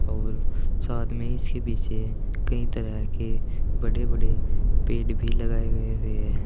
और साथ में इसके पीछे कई तरह के बड़े बड़े पेड़ भी लगाए गए हुए है।